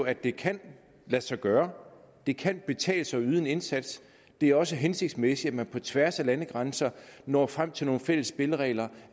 at det kan lade sig gøre det kan betale sig at yde en indsats det er også hensigtsmæssigt at man på tværs af landegrænserne når frem til nogle fælles spilleregler